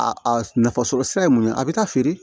A nafa sɔrɔ sira ye mun ye a bɛ taa feere